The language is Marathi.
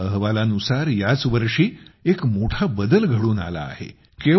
एका अहवालानुसार याच वर्षी एक मोठा बदल घडून आला आहे